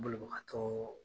Bolibagatɔɔ